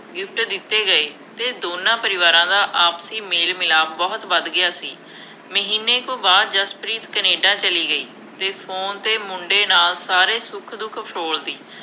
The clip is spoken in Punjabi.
gift ਦਿੱਤੇ ਗਏ ਅਤੇ ਦੋਨਾਂ ਪਰਿਵਾਰਾਂ ਦਾ ਆਪਸੀ ਮੇਲ ਮਿਲਾਪ ਬਹੁਤ ਵੱਧ ਗਿਆ ਸੀ। ਮਹੀਨੇ ਕੁ ਬਾਅਦ ਜਸਪ੍ਰੀਤ ਕੇਨੈਡਾ ਚਲੀ ਗਈ ਅਤੇ ਫੋਨ 'ਤੇ ਮੁੰਡੇ ਨਾਲ ਸਾਰੇ ਸੁੱਖ-ਦੁੱਖ ਫਰੋਲਦੀ।